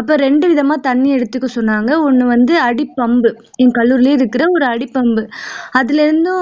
அப்போ ரெண்டு விதமா தண்ணி எடுத்துக்க சொன்னாங்க ஒன்னு வந்து அடிப்பம்பு என் கல்லூரிலயே இருக்கிற அடி pump அதுல இருந்து